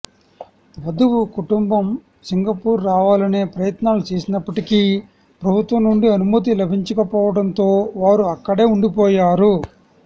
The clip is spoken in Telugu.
వధువు కుటుంబం సింగపూర్ రావాలనే ప్రయత్నాలు చేసినప్పటికీ ప్రభుత్వం నుండి అనుమతి లభించకపోవటంతో వారు అక్కడే ఉండిపోయారు